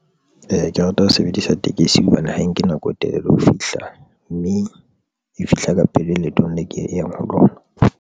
Ee, ke rata ho sebedisa tekesi hobane ha e nke nako e telele ho fihla mme e fihla ka pele leetong le ke yang ho lona.